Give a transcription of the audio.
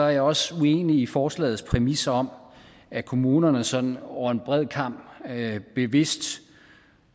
jeg også uenig i forslagets præmis om at kommunerne sådan over en bred kam bevidst